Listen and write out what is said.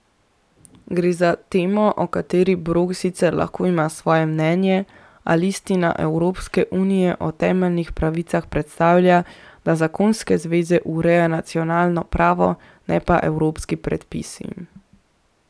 Gre za temo, o kateri Borg sicer lahko ima svoje mnenje, a listina Evropske unije o temeljnih pravicah predpostavlja, da zakonske zveze ureja nacionalno pravo, ne pa evropski predpisi.